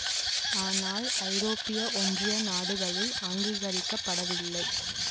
ஆனால் ஐரோப்பிய ஒன்றிய நாடுகளில் அங்கீகரிக்க படவில்லை